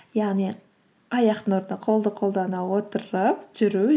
яғни аяқтың орнына қолды қолдана отырып жүру